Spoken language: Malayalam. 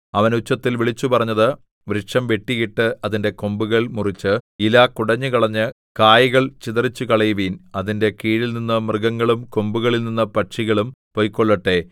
അവൻ ഉച്ചത്തിൽ വിളിച്ചുപറഞ്ഞത് വൃക്ഷം വെട്ടിയിട്ട് അതിന്റെ കൊമ്പുകൾ മുറിച്ച് ഇല കുടഞ്ഞുകളഞ്ഞ് കായ്കൾ ചിതറിച്ചുകളയുവിൻ അതിന്റെ കീഴിൽനിന്ന് മൃഗങ്ങളും കൊമ്പുകളിൽനിന്ന് പക്ഷികളും പൊയ്ക്കൊള്ളട്ടെ